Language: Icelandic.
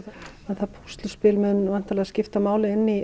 það púsluspil mun væntanlega skipta máli inn í